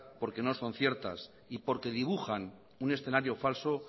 porque no son ciertas y porque dibujan un escenario falso